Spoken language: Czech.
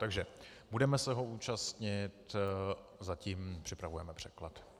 Takže budeme se ho účastnit, zatím připravujeme překlad.